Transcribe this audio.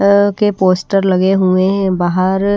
अ के पोस्टर लगे हुए हैं बाहर--